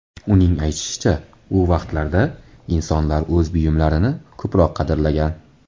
Uning aytishicha, u vaqtlarda insonlar o‘z buyumlarini ko‘proq qadrlagan.